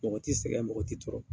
Mɔgɔ t'i sɛgɛn mɔgɔ t'i tɔɔrɔ.